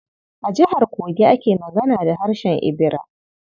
A Jihar Kogi ake magana da harshen Ibira.